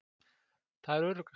Það er öruggast.